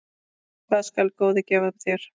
Hvað skal góði gefa þér?